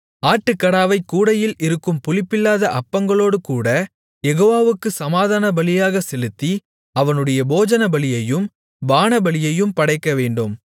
ஆட்டுக்கடாவைக் கூடையில் இருக்கும் புளிப்பில்லாத அப்பங்களோடுங்கூடக் யெகோவாவுக்குச் சமாதான பலியாகச் செலுத்தி அவனுடைய போஜனபலியையும் பானபலியையும் படைக்கவேண்டும்